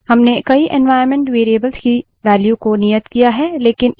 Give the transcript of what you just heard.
हमने कई environment variables की values को नियत किया है